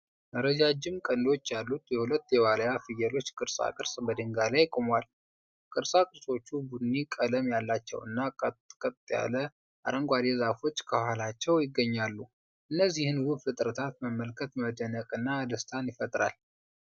ረጃጅም ቀንዶች ያሉት የሁለት የዋልያ ፍየሎች ቅርጻ ቅርጽ በድንጋይ ላይ ቆሟል። ቅርጻ ቅርጾቹ ቡኒ ቀለም ያላቸውና ጥቅጥቅ ያለ አረንጓዴ ዛፎች ከኋላቸው ይገኛሉ። እነዚህን ውብ ፍጥረታት መመልከት መደነቅንና ደስታን ይፈጥራል።